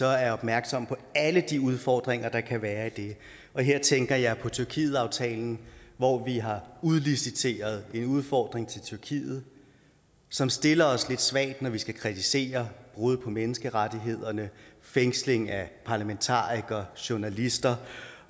er opmærksom på alle de udfordringer der kan være i det og her tænker jeg på tyrkietaftalen hvor vi har udliciteret en udfordring til tyrkiet som stiller os lidt svagt når vi skal kritisere brud på menneskerettighederne fængsling af parlamentarikere journalister